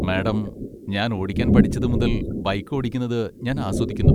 Madam, ഞാൻ ഓടിക്കാൻ പഠിച്ചത് മുതൽ ബൈക്ക് ഓടിക്കുന്നത് ഞാൻ ആസ്വദിക്കുന്നു.